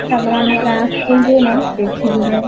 ତାପରେ ଆମ ଗାଁ ସ୍କୁଲ ଯୋଉ ଦିନ ସେଠିକି ଯାଏ